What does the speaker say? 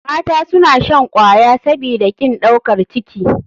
Mata suna shan kwaya sabida kin ɗaukar ciki.